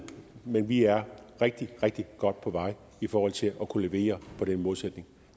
men vi er rigtig rigtig godt på vej i forhold til at kunne levere på den målsætning